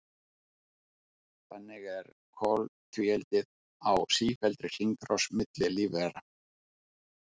Þannig er koltvíildið á sífelldri hringrás milli lífvera.